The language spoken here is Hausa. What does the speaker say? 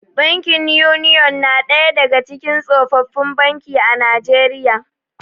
Bankin Union na ɗaya daga cikin tsofaffin banki a Najeriya.